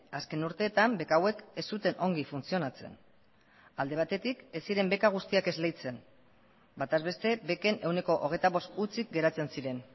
azken urteetan beka hauek ez zuten ongi funtzionatzen alde batetik ez ziren beka guztiak esleitzen bataz beste beken ehuneko hogeita bost hutsik geratzen ziren